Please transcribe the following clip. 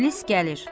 İblis gəlir.